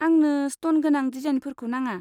आंनो स्ट'न गोनां डिजाइनफोरखौ नाङा।